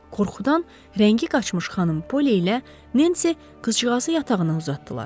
Qorxudan rəngi qaçmış xanım Polly ilə Nancy qızcığazı yatağına uzatdılar.